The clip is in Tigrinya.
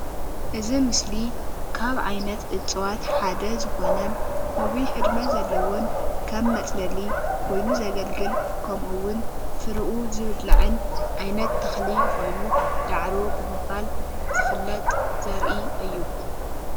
እዚ ኣብ ምስሊ ካብ ዓይነት እፅዋት ሓደ ዝኮነ ነዊሕ ዕድመ ዘለዎን ከም መፅለሊ ኮይኑ ዘገልግል ከምኡ እውን ፍሪኡ ዝብላዕን ዓይነት ተክሊ ኮይኑ ዳዕሮ ብምባል ዝፍለጥ ዘርኢ እዩ፡፡